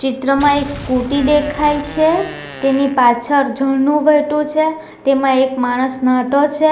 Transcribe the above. ચિત્ર માં એક સ્કુટી દેખાય છે ટેની પાછળ ઝરણું વહેટુ છે ટેમાં એક પાછળ એક માણસ ન્હાટો છે.